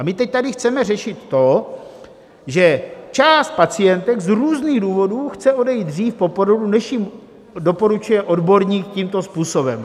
A my teď tady chceme řešit to, že část pacientek z různých důvodů chce odejít dřív po porodu, než jim doporučuje odborník tímto způsobem.